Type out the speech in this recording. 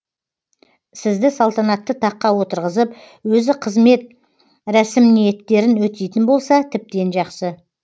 сізді салтанатты таққа отырғызып өзі қызмет рәсімиеттерін өтейтін болса тіптен жақсы